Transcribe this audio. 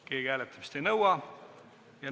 Keegi hääletamist ei nõua.